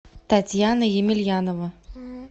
татьяна емельянова